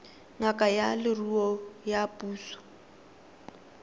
ngaka ya leruo ya puso